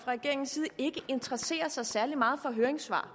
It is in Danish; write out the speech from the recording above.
regeringens side ikke interesserer sig særlig meget for høringssvar